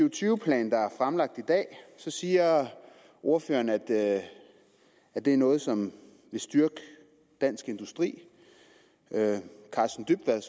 og tyve plan der er fremlagt i dag siger ordføreren at det er det er noget som vil styrke dansk industri karsten dybvad